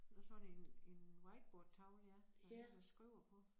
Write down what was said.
Nåh sådan en en whiteboardtavle ja hvor der én der skriver på